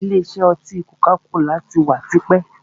Ìlé isẹ́ oti koka-kola tí wá tipẹ́.